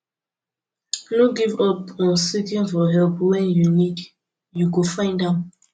no give up on seeking for help when you need you go find am